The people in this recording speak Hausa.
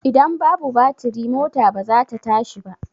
Ida babu batiri mota ba zata tashi ba